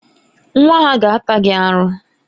Nwa ha ga-ata gị aru.